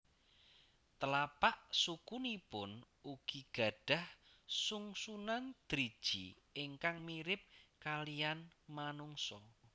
Telapak sukunipun ugi gadhah sungsunan driji ingkang mirip kaliyan manungsa